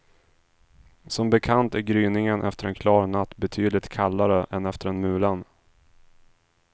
Som bekant är gryningen efter en klar natt betydligt kallare än efter en mulen.